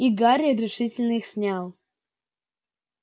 и гарри решительно их снял